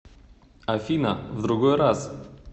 афина в другой раз